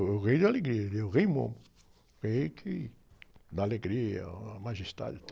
É o rei da alegria, ele é o rei Momo, o rei que... Da alegria, ah, a majestade e tal.